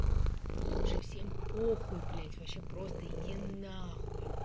слушай всем похуй блять вообще просто иди на хуй